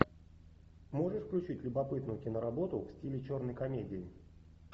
можешь включить любопытную киноработу в стиле черной комедии